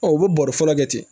u bɛ bɔrɛ fɔlɔ kɛ ten